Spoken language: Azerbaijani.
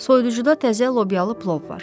Soyuducuda təzə lobyalı plov var.